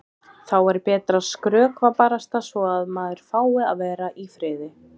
Þá er betra að skrökva barasta svo að maður fái að vera í friði.